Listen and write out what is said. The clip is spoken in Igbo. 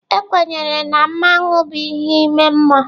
Ekwenyere na mmanwu bụ ihe ime mmụọ.